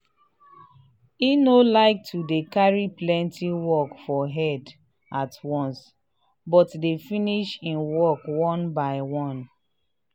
he no um like to dey carry plenti work for head at once but dey finish hin um work one by one.